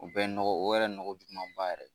U bɛ nɔgɔ, o yɛrɛ nɔgɔ jugumaba yɛrɛ.